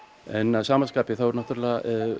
en að sama skapi þá er náttúrulega